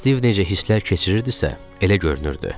Stiv necə hisslər keçirirdisə, elə görünürdü.